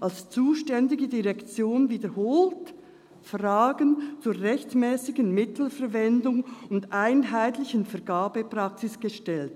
als zuständiger Direktion wiederholt Fragen zur rechtmässigen Mittelverwendung und einheitlichen Vergabepraxis gestellt.